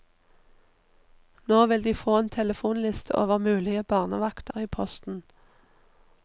Nå vil de få en telefonliste over mulige barnevakter i posten.